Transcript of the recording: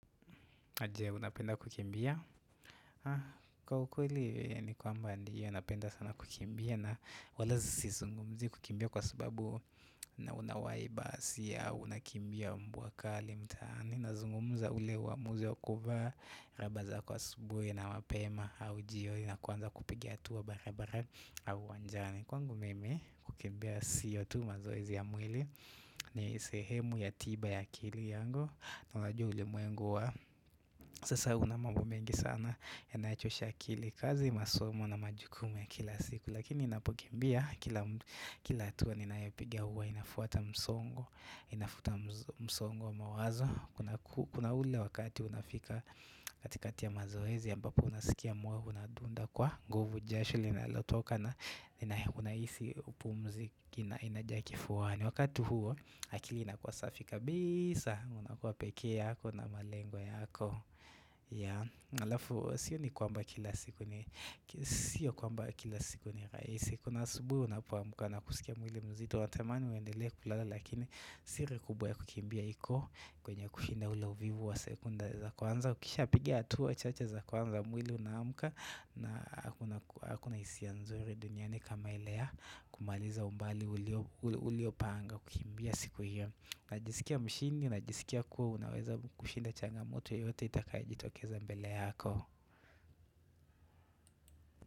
Je, unapenda kukimbia? Kwa ukweli, ni kwamba ndio, napenda sana kukimbia na wala si zungumzi kukimbia kwa subabu na unawaiba si ya, unakimbia mbwa kali, mtaani na zungumza ule wamuzi wa kuvaa, raba za kwa asubuhi na mapema au jioni na kuwanza kupigat hatua barabara au uwanjani Kwangu, mimi, kukimbia sio tu mazoezi ya mwili ni sehemu ya tiba ya akili yangu na unajua ulimwengu wa Sasa una mambo mengi sana Yanayochosha akili kazi masomo na majukumu ya kila siku Lakini ninapokimbia kila Kila hatua ninayopiga huwa inafuata msongo Inafuta msongo mawazo Kuna ule wakati unafika katikati ya mazoezi ambapo unasikia moyo unadunda kwa nguvu jasho linalotoka na unahisi upumzi ina jaa kifuani Wakati huo akili inakuwa safi kabisa na unakua pekee yako na malengo yako, ya, na alafu, sioni kwamba kila siku ni, sio kwamba kila siku ni rahisi kuna asubuhi unapo amka na kusikia mwili mzito unatamani uendelee kulala lakini siri kubwa ya kukimbia hiko kwenye kushinda ule uvivu wa sekunde za kwanza ukisha piga hatua chache za kwanza mwili unaamka na hakuna hisia nzuri duniani kama ile ya kumaliza umbali uliopanga kukimbia siku hiyo Najisikia mshindi, najisikia kuwa unaweza kushinda changamoto yote itakaijitokeza mbele yako.